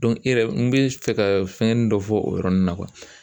i yɛrɛ n bɛ fɛ ka fɛngɛnin dɔ fɔ o yɔrɔnin na